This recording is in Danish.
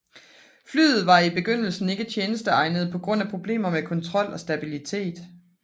Flyet var i begyndelsen ikke tjenesteegnet på grund af problemer med kontrol og stabillitet